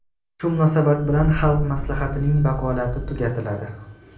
Shu munosabat bilan Xalq Maslahatining vakolati tugatiladi.